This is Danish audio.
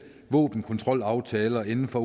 våbenkontrolaftaler inden for